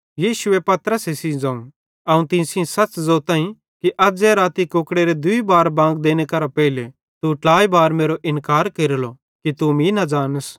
यीशुए पतरसे सेइं ज़ोवं अवं तीं सेइं सच़ ज़ोतईं कि अज़्ज़ेरी राती कुकड़ेरे दूई बार बांग देने केरां पेइले तू ट्लाइ बार मेरो इन्कार केरलो कि तू मीं न ज़ानस